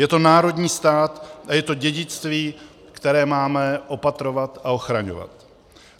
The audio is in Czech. Je to národní stát a je to dědictví, které máme opatrovat a ochraňovat.